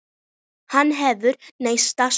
Hann hefur neitað sök.